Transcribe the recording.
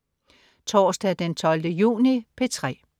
Torsdag den 12. juni - P3: